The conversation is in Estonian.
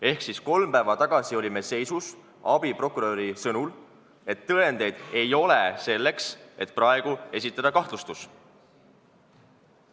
Ehk kolm päeva tagasi olime abiprokuröri sõnul seisus, et tõendeid ei olnud, selleks et praegu kahtlustus esitada.